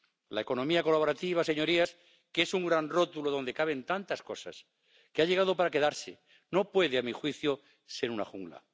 La economía colaborativa, señorías, que es un gran rótulo donde caben tantas cosas, que ha llegado para quedarse, no puede, a mi juicio, ser una jungla.